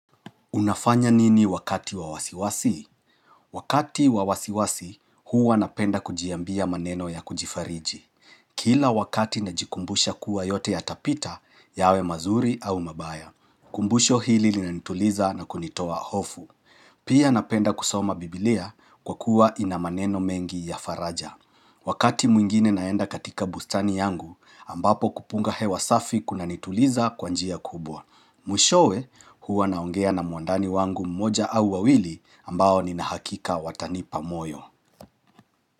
Unafanya nini wakati wawasiwasi? Wakati wa wasiwasi, huwa napenda kujiambia maneno ya kujifariji. Kila wakati na jikumbusha kuwa yote ya tapita yawe mazuri au mabaya. Kumbusho hili li nanituliza na kunitoa hofu. Pia napenda kusoma biblia kwa kuwa inamaneno mengi ya faraja. Wakati mwingine naenda katika bustani yangu, ambapo kupunga hewa safi kuna nituliza kwa njia kubwa. Mwishowe huwa naongea na mwandani wangu mmoja au wawili ambao ninahakika watani pamoyo.